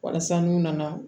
Walasa n'u nana